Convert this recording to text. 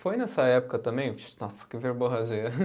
Foi nessa época também. Nossa, que verborragia.